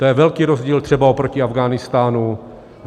To je velký rozdíl třeba oproti Afghánistánu.